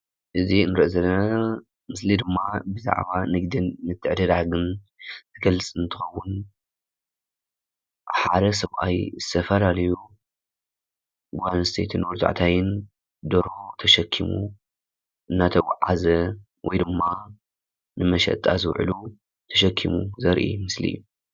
አብዚ እንርእዮ ዘለና ምስሊ ብዛዕባ ንግድን ምትዕድዳግን ዝገልፅ እንትከዉን ሓደ ሰብኣይ ዝተፋላለዩ ጓል ኣንስተይትን ወዲ ተባዕታይን ደርሆ ተሸኪሙ እናተጓዓዘ ወይ ድማ ንመሸጣ ዝዉዕሉ ተሸኪሙ ዘርኢምስሊ እዩ፡፡